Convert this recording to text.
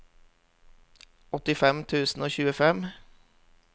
åttifem tusen og tjuefem